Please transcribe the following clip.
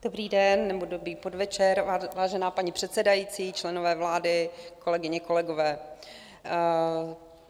Dobrý den, nebo dobrý podvečer, vážená paní předsedající, členové vlády, kolegyně, kolegové.